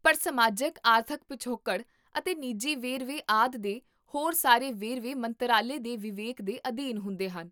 ਪਰ ਸਮਾਜਿਕ ਆਰਥਿਕ ਪਿਛੋਕੜ ਅਤੇ ਨਿੱਜੀ ਵੇਰਵੇ ਆਦਿ ਦੇ ਹੋਰ ਸਾਰੇ ਵੇਰਵੇ ਮੰਤਰਾਲੇ ਦੇ ਵਿਵੇਕ ਦੇ ਅਧੀਨ ਹੁੰਦੇ ਹਨ